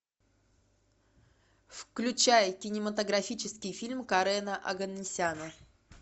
включай кинематографический фильм карена оганесяна